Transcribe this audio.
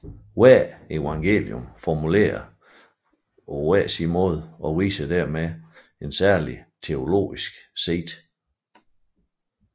Hvert evangelium formulerer dette på forskellig måde og viser derved et særligt teologisk sigte